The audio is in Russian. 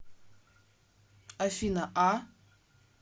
афина а